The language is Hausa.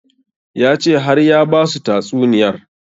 Ya ce har ya basu tatsuniyar